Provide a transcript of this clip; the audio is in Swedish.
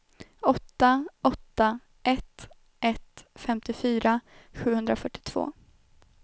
åtta åtta ett ett femtiofyra sjuhundrafyrtiotvå